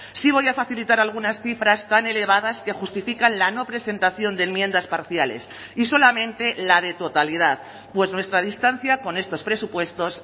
sí voy a facilitar algunas cifras tan elevadas que justifican la no presentación de enmiendas parciales y solamente la de totalidad pues nuestra distancia con estos presupuestos